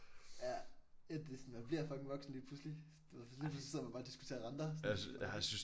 Ja et det sådan man bliver fucking voksen lige pludselig. Du ved lige pludselig så sidder man bare og diskuterer renter sådan okay